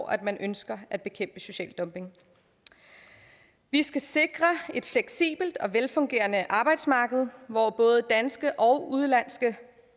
at man ønsker at bekæmpe social dumping vi skal sikre et fleksibelt og velfungerende arbejdsmarked hvor både danske og udenlandske